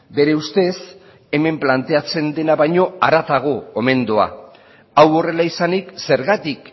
bere ustez hemen planteatzen dena baino haratago omen doa hau horrela izanik zergatik